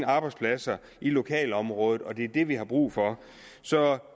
arbejdspladser i lokalområdet og det er det vi har brug for så